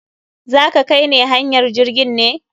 Za ka kai ne hanyar jirgin ne?